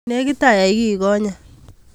Nekit ayai kiigo'nye